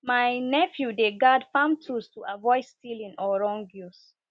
my nephew dey guard farm tools to avoid stealing or wrong use